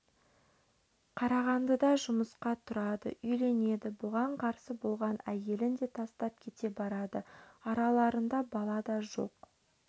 қарағандыда жұмысқа тұрады үйленеді бұған қарсы болған әйелін де тастап кете барады араларында бала да жоқ